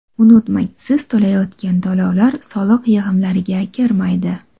Unutmang, siz to‘layotgan to‘lovlar soliq yig‘imlariga kirmaydi.